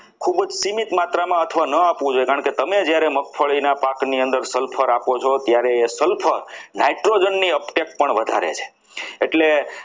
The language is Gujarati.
ખૂબ જ સીમિત માત્રામાં અથવા તો ન આપવું જોઈએ કે તમે જ્યારે મગફળીના પાકની અંદર sulphur આપો છો ત્યારે એ sulphur nitrogen ની અટેક પણ વધારે છે.